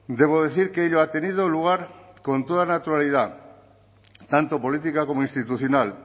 debo decir que ello ha tenido lugar con toda naturalidad tanto política como institucional